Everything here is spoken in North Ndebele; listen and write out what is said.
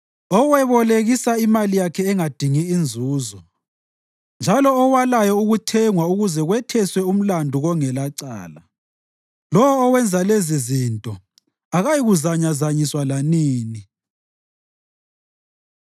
owebolekisa imali yakhe engadingi inzuzo njalo owalayo ukuthengwa ukuze kwetheswe umlandu kongelacala. Lowo owenza lezizinto akayikuzanyazanyiswa lanini.